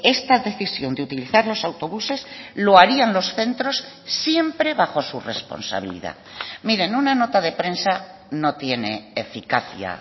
esta decisión de utilizar los autobuses lo harían los centros siempre bajo su responsabilidad mire en una nota de prensa no tiene eficacia